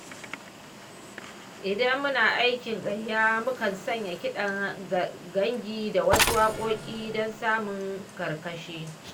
Idan muna aikin gayya mukan sanya kiɗan gangi da wasu waƙoƙin don samun karkashi.